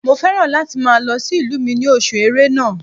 Mo fẹ́ràn láti máa lọ sí ìlú mi ní oṣù ẹrẹ́nà